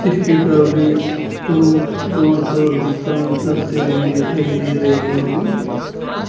रो road पर vehicle चलते हुए दिखाई दे रही है।